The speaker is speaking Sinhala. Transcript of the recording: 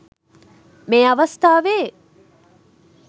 මේ අවස්ථාවේ